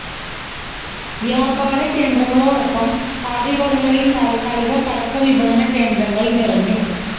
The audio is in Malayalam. വ്യാപാര കേന്ദ്രങ്ങളോടൊപ്പം പാതയോരങ്ങളില് താത്ക്കാലിക പടക്ക വിപണന കേന്ദ്രങ്ങള് നിറഞ്ഞു